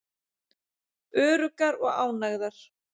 Öruggar og ánægðar.